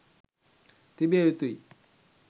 තිබිය යුතුයි.